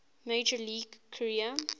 major league career